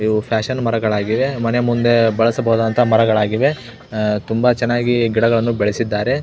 ಇವು ಫ್ಯಾಷನ್ ಮರಗಳಾಗಿವೆ ಮನೆಮುಂದೆ ಬೆಳೆಸಬಹುದಾದಂತ ಮರಗಳಾಗಿವೆ ಅಹ್ ತುಂಬಾ ಚನ್ನಾಗಿ ಗಿಡಗಳನ್ನು ಬೆಳೆಸಿದ್ದಾರೆ.